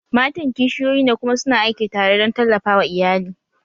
Matan kishiyoyi ne kuma su na aiki tare don tallafa wa iyali